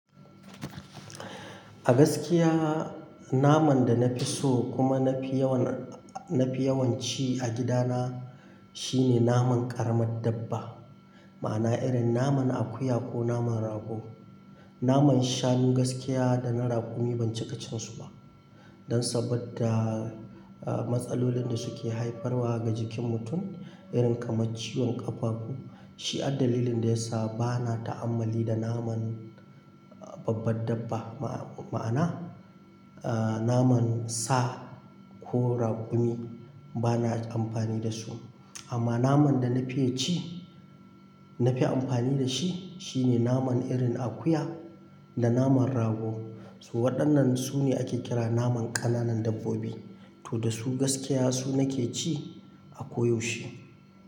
A gaskiya naman danafi so kuma nafi yawan, nafi yawan ci a gidana shine naman ƙaramar dabba. Ma'ana irin naman akuya ko naman rago. Naman shanu gaskiya dana raƙumi ban cika cinsu ba. Dan saboda matsalolin da suke haifarwa ga jikin mutum. Irin kamar ciwon ƙafafu. Shi addalilin da yasa bana ta'ammali da naman babbar dabba. Ma'ana naman sa ko raƙumi. Bana amfani dasu. Amma naman dana fiya ci, nafi amfani dashi shine naman irin akuya, da naman rago. Su waɗannan sune ake kira naman ƙananan dabbobi. To da su gaskiya su nake ci a koyaushe.